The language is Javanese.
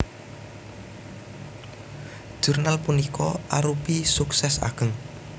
Jurnal punika arupi suksès ageng